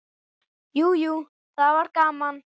Jú, jú, það var gaman.